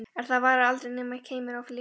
En það varð aldrei nema keimur af lykt.